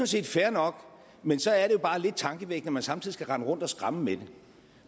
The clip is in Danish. set fair nok men så er det jo bare lidt tankevækkende at man samtidig skal rende rundt og skræmme med det